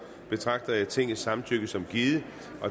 betragter jeg tingets samtykke som givet